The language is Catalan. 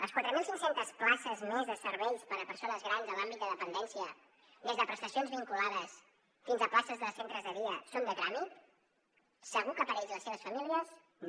les quatre mil cinc cents places més de serveis per a persones grans en l’àmbit de dependència des de prestacions vinculades fins a places de centres de dia són de tràmit segur que per a ells i les seves famílies no